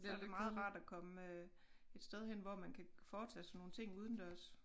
Så det meget rart at komme et sted hen hvor man kan foretage sig nogle ting udendørs